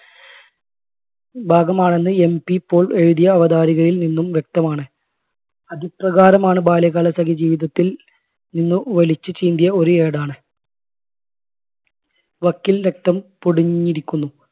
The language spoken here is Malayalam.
ഭാഗമാണെന്ന് MP പോൾ എഴുതിയ അവതാരികയിൽ നിന്നും വ്യക്തമാണ്. അതിപ്രകാരമാണ് ബാല്യകാലസഖി ജീവിതത്തിൽ നിന്ന് വലിച്ച് ചീന്തിയ ഒരു ഏടാണ് വക്കിൽ രക്തം പൊടിഞ്ഞിരിക്കുന്നു.